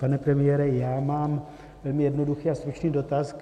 Pane premiére, já mám velmi jednoduchý a stručný dotaz.